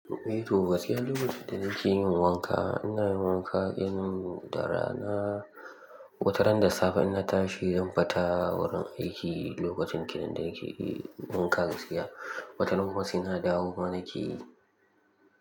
Eh Toba, gaskiya lokacin da nake yin wanka, ina yin wanka irin da rana. Wata ran da safe in na tashi zan fita wurin aiki lokacin kenan da nake wanka gaskiya. Wataran kuma saina dawo ma nake.